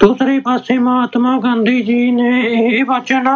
ਦੂਸਰੇ ਪਾਸੇ ਮਹਾਤਮਾ ਗਾਂਧੀ ਜੀ ਨੇ ਇਹ ਵਚਨ